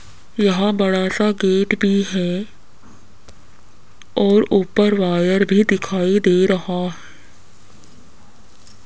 यहां बड़ा सा गेट भी है और ऊपर वायर भी दिखाई दे रहा --